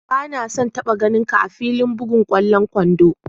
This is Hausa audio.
Ba na son taba ganin ka'a filin bugan kwallon kwando!